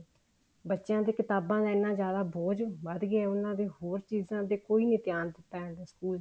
ਬੱਚਿਆਂ ਦੀਆਂ ਕਿਤਾਬਾਂ ਦਾ ਇੰਨਾ ਜਿਆਦਾ ਬੋਝ ਵੱਧ ਗਿਆ ਉਹਨਾ ਦੀਆਂ ਹੋਰ ਚੀਜ਼ਾਂ ਤੇ ਕੁੱਝ ਨੀ ਧਿਆਨ ਦਿੱਤਾ ਜਾਂਦਾ ਸਕੂਲ ਚ